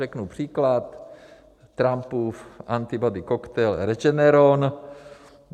Řeknu příklad: Trumpův antibody koktejl Regeneron.